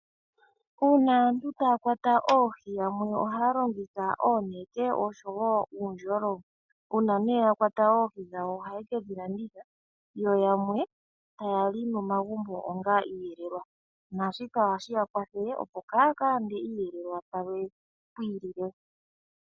Uuna aantu taya kwata oohi yamwe ohaya longitha oonete oshowo uundjolo. Uuna nee ya kwata oohi dhawo ohaye kedhi landitha, yo yamwe taya li momagumbo onga iiyelelwa. Naashika ohashi ya kwathele opo kaya ka lande iiyelelwa pamwe pwiilile.